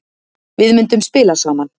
Við myndum spila saman.